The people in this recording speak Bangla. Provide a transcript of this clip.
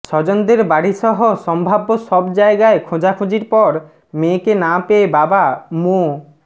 স্বজনদের বাড়িসহ সম্ভাব্য সব জায়গায় খোঁজাখুঁজির পর মেয়েকে না পেয়ে বাবা মো